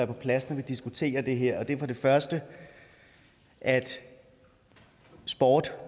på plads når vi diskuterer det her og det er for det første at sport